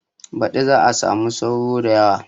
Baɗi za a samu sauro da yawa